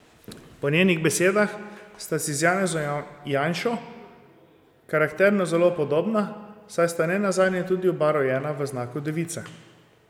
Po njenih besedah sta si z Janezom Janšo karakterno zelo podobna, saj sta nenazadnje tudi oba rojena v znaku device.